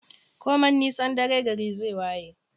Koman nisan dare gari zai waye